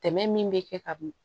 Tɛmɛ min bɛ kɛ ka bin